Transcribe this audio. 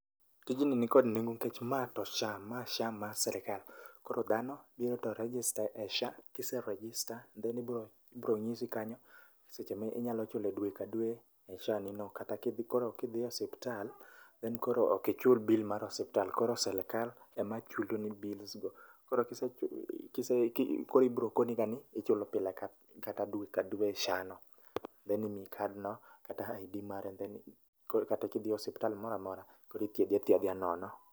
Tijni nikod nengo nikech ma to SHA, ma SHA mar sirkal. Koro dhano biro to register e SHA kise register to nitie chudo ibiro nyisi kanyo pesa ma ichulo dwe kata kidhi koro mka idhi e osiptal then koro ok ichul bill mar osipta, lkoro sirkal ema chulo bills go. Koro ibiro koniga nichulo pile kata dwe ka dwe SHA no. Koro imiyi kad no kata ID mare koro kata kidhi e osiptal moro amora koro ithiedhi athiedha nono.